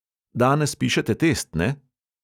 "Danes pišete test, ne?"